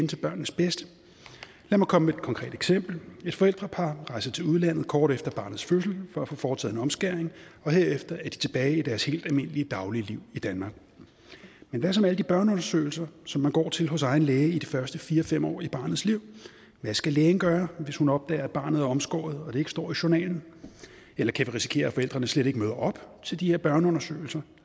til børnenes bedste lad mig komme med et konkret eksempel et forældrepar rejser til udlandet kort efter barnets fødsel for at få foretaget en omskæring og herefter er de tilbage i deres helt almindelige dagligliv i danmark men hvad så med alle de børneundersøgelser som man går til hos egen læge i de første fire fem år af barnets liv hvad skal lægen gøre hvis hun opdager at barnet er omskåret og det ikke står i journalen eller kan vi risikere at forældrene slet ikke møder op til de her børneundersøgelser